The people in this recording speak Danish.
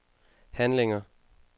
handlinger